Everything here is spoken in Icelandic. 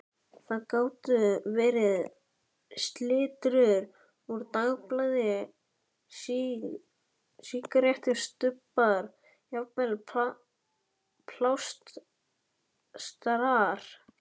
Það gátu verið slitrur úr dagblaði, sígarettustubbar, jafnvel plástrar.